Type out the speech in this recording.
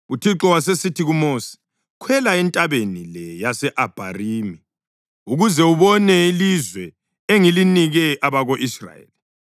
UThixo wasesithi kuMosi, “Khwela entabeni le yase-Abharimi ukuze ubone ilizwe engilinike abako-Israyeli.